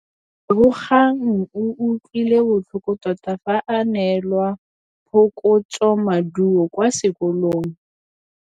Lebogang o utlwile botlhoko tota fa a neelwa phokotsômaduô kwa sekolong.